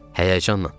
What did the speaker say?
Həyəcanla.